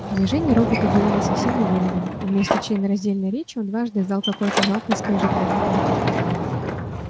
движения робота были не совсем уверенными и вместо членораздельной речи он дважды издал какое-то жалкое скрежетание